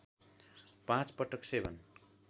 पाँच पटक सेवन